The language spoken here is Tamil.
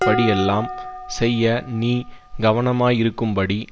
படியெல்லாம் செய்ய நீ கவனமாயிருக்கும்படிக்கு